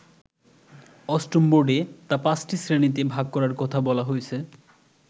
অষ্টম বোর্ডে তা পাঁচটি শ্রেণিতে ভাগ করার কথা বলা হয়েছে।